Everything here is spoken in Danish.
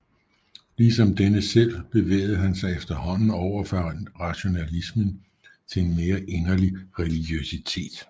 Ligesom denne selv bevægede han sig efterhånden over fra rationalismen til en mere inderlig religiøsitet